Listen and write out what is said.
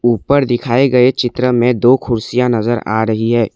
ऊपर दिखाए गए चित्र में दो कुर्सियां नजर आ रही है।